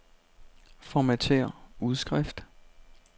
Formatér udskrift.